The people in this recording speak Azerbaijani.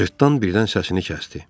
Cırtdan birdən səsini kəsdi.